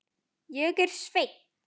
Ég er Svenni.